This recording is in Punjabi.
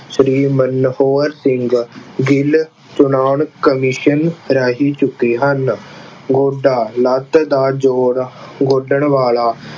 ਸ਼੍ਰੀ ਮਨੋਹਰ ਸਿੰਘ ਗਿੱਲ ਚੋਣ ਕਮਿਸ਼ਨ ਰਾਹੀਂ ਚੁੱਕੇ ਹਨ। ਗੋਡਾ ਲੱਤ ਦਾ ਜ਼ੋਰ ਗੋਡਣ ਵਾਲਾ